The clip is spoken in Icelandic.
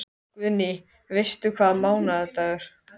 Guðný: Veistu hvaða mánaðardagur?